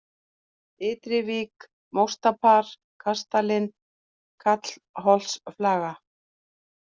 Ytri-Vík, Móstapar, Kastalinn, Kallholtsflaga